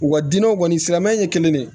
U ka dinɛw kɔni silamɛya in ye kelen ye dɛ